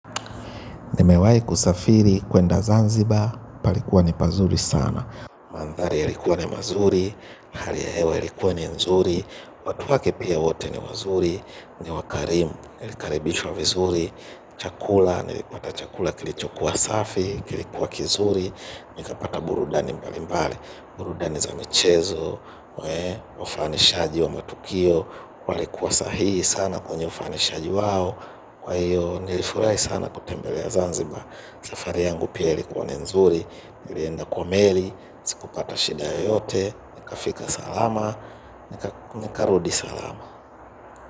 Nimewai kusafiri kuenda Zanzibar, palikuwa ni pazuri sana. Mandhari yalikuwa ni mazuri, hali ya hewa yalikuwa ni nzuri, watu wake pia wote ni wazuri, ni wakarimu, nilikaribishwa vizuri, chakula, nilipata chakula kilichokua safi, kilikuwa kizuri, nikapata burudani mbali mbali, burudani za michezo, wafanishaji wa matukio, walikuwa sahihi sana kwenye ufanishaji wao, kwa hiyo nilifurai sana kutembelea Zanzibar. Safari yangu pia ilikuwa ni nzuri. Nilienda kwa meli. Sikupata shida yoyote. Nikafika salama. Nikarudi salama.